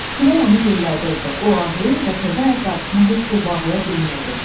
Külək onu yellədirdi, o ağlayır və təzə ayaqqabısını heç cür bağlaya bilmirdi.